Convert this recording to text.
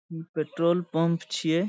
ई petrol pump छिये ।